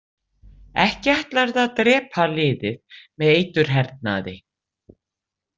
Ekki ætlarðu að drepa liðið með eiturhernaði?